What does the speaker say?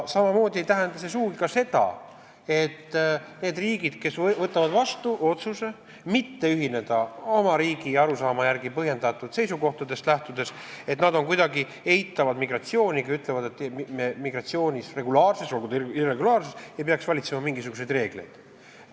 Samamoodi ei tähenda see sugugi seda, nagu need riigid, kes võtavad vastu otsuse mitte ühineda, oma riigi arusaama järgi ja põhjendatud seisukohtadest lähtudes, kuidagi eitaksid migratsiooni ja ütleksid, et migratsioonis, regulaarses või irregulaarses, ei peaks valitsema mingisuguseid reegleid.